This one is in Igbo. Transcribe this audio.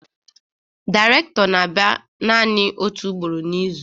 Dairekto na-abia nanị otu ugboro n'izu